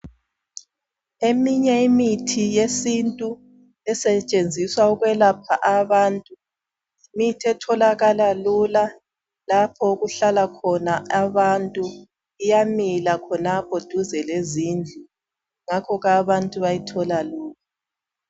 Eminye imithi yesintu esetshenziswa ukwelapha abantu, yimithi etholakala lula. Lapho okuhlala khona abantu. Iyamila khonapho eduze lezindlu. Ngakho abantu bayithola lula.